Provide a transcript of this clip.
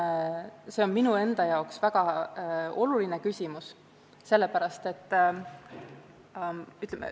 Seegi on minu enda jaoks väga oluline küsimus.